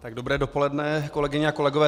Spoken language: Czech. Dobré dopoledne, kolegyně a kolegové.